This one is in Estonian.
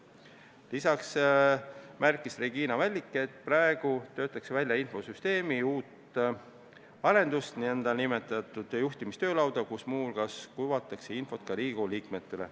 Lisaks märkis Regina Vällik, et praegu töötatakse välja infosüsteemi uut arendust, nn juhtimistöölauda, kus muu hulgas kuvatakse infot ka Riigikogu liikmetele.